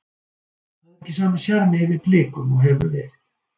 Það er ekki sami sjarmi yfir Blikum og hefur verið.